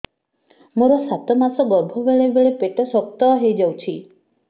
ମୋର ସାତ ମାସ ଗର୍ଭ ବେଳେ ବେଳେ ପେଟ ଶକ୍ତ ହେଇଯାଉଛି